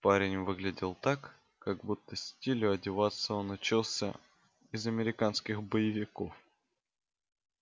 парень выглядел так как будто стилю одеваться он учился из американских боевиков